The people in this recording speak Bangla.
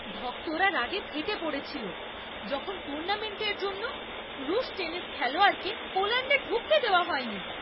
ভক্তরা রাগে ফেটে পড়েছিল, যখন টুর্নামেন্টের জন্য রুশ টেনিস খেলোয়াড়কে পোল্যাণ্ডে ঢুকতে দেওয়া হয়নি।